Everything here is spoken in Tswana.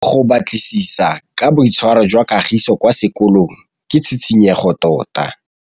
Go batlisisa ka boitshwaro jwa Kagiso kwa sekolong ke tshikinyêgô tota.